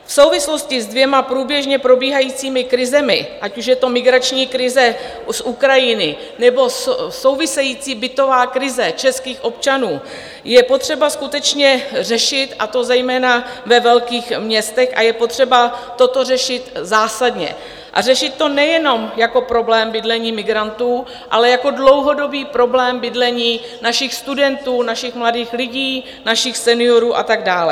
V souvislosti se dvěma průběžně probíhajícími krizemi, ať už je to migrační krize z Ukrajiny, nebo související bytová krize českých občanů, je potřeba skutečně řešit, a to zejména ve velkých městech, a je potřeba toto řešit zásadně a řešit to nejenom jako problém bydlení migrantů, ale jako dlouhodobý problém bydlení našich studentů, našich mladých lidí, našich seniorů a tak dále.